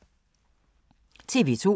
TV 2